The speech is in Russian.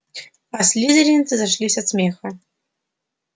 а слизеринцы зашлись от смеха